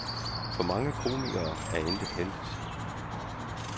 For mange komikere er intet helligt.